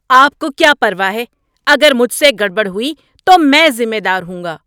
آپ کو کیا پرواہ ہے؟ اگر مجھ سے گڑبڑ ہوئی تو میں ذمہ دار ہوں گا۔